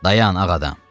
Dayan, ağ adam!